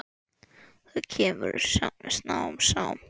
Það kemur smám saman.